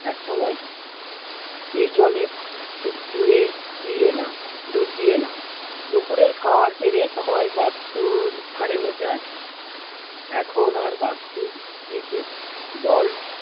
এক সময় এই জলে ডুবে দিয়ে এলাম, ডুব দিয়ে এলাম দুপুরের খাবার সেরে সবাই বাস্তুর ধারে বসে আছি, এখন আর বাস্তুর নিচে জল